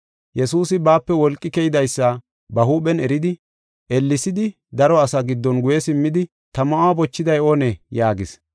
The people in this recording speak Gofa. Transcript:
Yesuusi baape wolqi keydaysa ba huuphen eridi, ellesidi daro asa giddon guye simmidi, “Ta ma7uwa bochiday oonee?” yaagis.